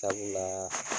Sabula